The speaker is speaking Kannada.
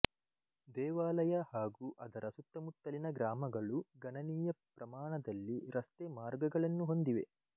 ದೇವಾಲಯ ಹಾಗೂ ಅದರ ಸುತ್ತಮುತ್ತಲಿನ ಗ್ರಾಮಗಳು ಗಣನೀಯ ಪ್ರಮಾಣದಲ್ಲಿ ರಸ್ತೆ ಮಾರ್ಗಗಳನ್ನು ಹೊಂದಿವೆ